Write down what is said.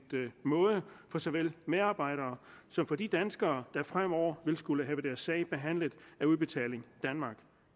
måde for så vel medarbejdere som for de danskere der fremover vil skulle have deres sag behandlet af udbetaling danmark